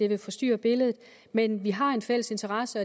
vil forstyrre billedet men vi har en fælles interesse